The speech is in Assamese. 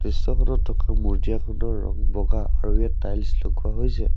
দৃশ্যখনত থকা মজিয়াখনৰ ৰং বগা আৰু ইয়াত টায়েলছ লগোৱা হৈছে।